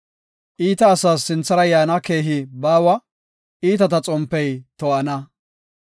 Iita asas sinthara yaana keehi baawa; iitata xompey to7ana.